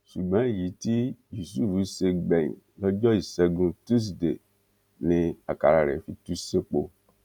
ṣùgbọn èyí tí yusuf ṣe gbẹyìn lọjọ ìṣẹgun tusidee ni àkàrà rẹ fi tú sépo